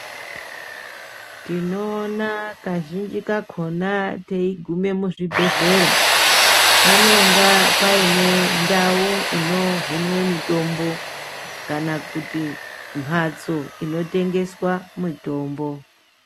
Tinoona kazhinji kakhona teigume muzvibhedhlera, panonga paine ndau inohinwe mitombo, kana kuti mhatso inotengeswa mitombo.